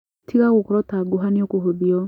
Tiga gũkoro ta gũha nĩũkũhũthio.